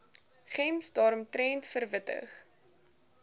gems daaromtrent verwittig